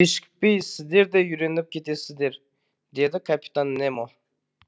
кешікпей сіздер де үйреніп кетесіздер деді капитан немо